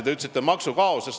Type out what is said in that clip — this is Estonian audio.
Ma vist kuulsin valesti.